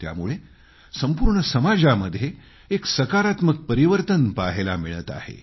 त्यामुळे संपूर्ण समाजामध्ये एक सकारात्मक परिवर्तन पहायला मिळत आहे